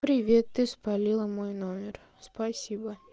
привет ты спалила мой номер спасибо